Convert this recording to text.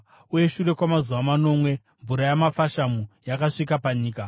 Uye shure kwamazuva manomwe mvura yamafashamu yakasvika panyika.